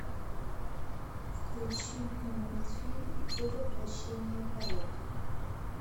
включи мне мультфильм ты воплощение порока